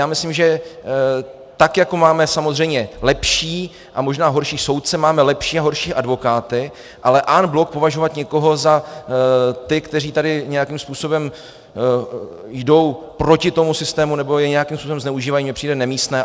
Já myslím, že tak jako máme samozřejmě lepší a možná horší soudce, máme lepší a horší advokáty, ale en bloc považovat někoho za ty, kteří tady nějakým způsobem jdou proti tomu systému nebo jej nějakým způsobem zneužívají, mně přijde nemístné.